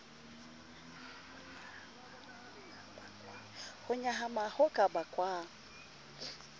ho nyahama ho ka bakwang